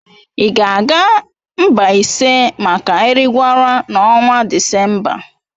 Ị ga-aga Mbaise maka Erigwara n'ọnwa Disemba?